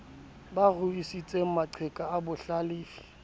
ba ruisitse maqheka a bohlalefi